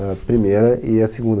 A primeira e a segunda.